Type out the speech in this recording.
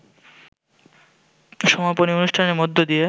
সমাপনী অনুষ্ঠানের মধ্য দিয়ে